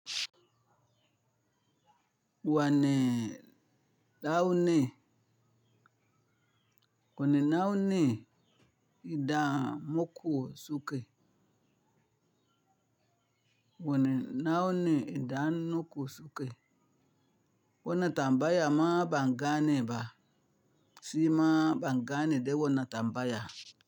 Wane launi, wane launi idan muku suke. Wane nauni idan nuku suke. Wanna tambaya ma bangane ba, si ma bangane de wana tambaya.